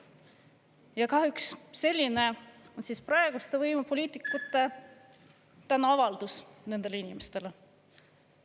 Ja kahjuks selline on praeguste võimupoliitikute tänuavaldus nendele inimestele.